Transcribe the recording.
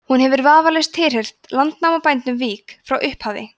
hún hefur vafalaust tilheyrt landnámsbænum vík frá upphafi